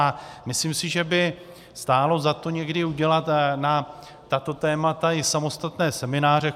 A myslím si, že by stálo za to někdy udělat na tato témata i samostatné semináře.